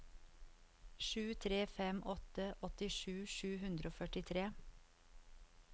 sju tre fem åtte åttisju sju hundre og førtitre